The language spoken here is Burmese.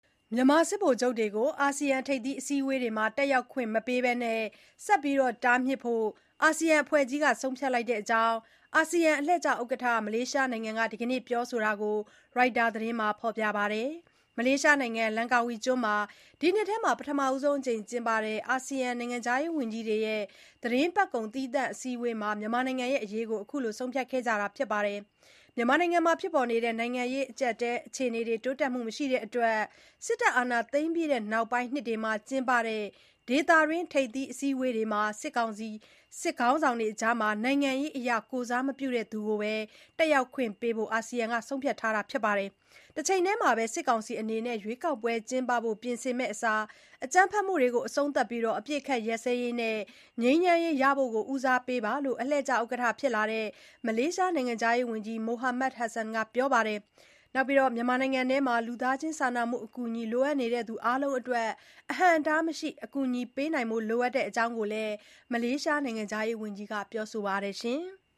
မြန်မာစစ်ဗိုလ်ချုပ်တွေကို အာဆီယံ ထိပ်သီးအစည်းအဝေးတွေမှာ တက်ရောက်ခွင့် မပေးဘဲ ဆက်လက် တားမြစ်ဖို့ အာဆီယံအဖွဲ့ကြီးက ဆုံးဖြတ်လိုက်တဲ့အကြောင်း အာဆီယံအလှည့်ကျဥက္ကဋ္ဌ မလေးရှားနိုင်ငံက ဒီနေ့ ပြောဆိုတာကို ရိုက်တာ သတင်းမှာ ဖေါ်ပြပါတယ်။ မလေးရှားနိုင်ငံ လန်ကာဝီကျွန်းမှာ ဒီနှစ်ထဲ ပထမဆုံးအကြိမ် ကျင်းပတဲ့ အာဆီယံ နိုင်ငံခြားရေးဝန်ကြီးတွေရဲ့ သီတင်းပတ်ကုန် သီးသန့် အစည်းအဝေးမှာ မြန်မာနိုင်ငံအရေးကို ဆုံးဖြတ်ခဲ့တာပါ။ မြန်မာနိုင်ငံရဲ့ နိုင်ငံရေးအခြေအနေ တိုးတက်မှု မရှိတဲ့အတွက် စစ်တပ်အာဏာသိမ်းပြီး နောက်ပိုင်းနှစ်တွေမှာ ကျင်းပတဲ့ ဒေသတွင်း ထိပ်သီးအစည်းအဝေးတွေမှာ စစ်ခေါင်းဆောင်တွေအကြား နိုင်ငံရေးအရ ကိုယ်စားမပြုတဲ့သူကိုပဲ တက်ရောက်ခွင့်ပေးဖို့ အာဆီယံက ဆုံးဖြတ်ခဲ့တာပါ။ တချိန်တည်းမှာ စစ်ကောင်စီအနေနဲ့ ရွေးကောက်ပွဲ ကျင်းပဖို့ ပြင်ဆင်မယ့်အစား အကြမ်းဖက်မှုတွေ အဆုံးသတ်ပြီး အပစ်အခတ်ရပ်စဲရေးနဲ့ ငြိမ်းချမ်းရေးရဖို့ ဦးစားပေးသင့်တယ်လို့ အလှည့်ကျဥက္ကဋ္ဌ ဖြစ်လာတဲ့ မလေးရှား နိုင်ငံခြားရေးဝန်ကြီး Mohamad Hasan က ပြောဆိုပါတယ်။ တချိန်တည်းမှာ မြန်မာနိုင်ငံအတွင်း လူသားချင်းစာနာမှုအကူအညီ လိုအပ်နေသူတွေ အားလုံးအတွက် အဟုန့်အတားမရှိ အကူအညီပေးနိုင်ဖို့ လိုအပ်တဲ့အကြောင်းလည်း မလေးရှားနိုင်ငံခြားရေးဝန်ကြီးက ပြောဆိုပါတယ်။